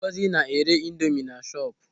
Ngozi na-ere indomi na shọpu.